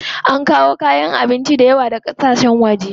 Ana kawo kayan abinci dayawa daga ƙasashen waje.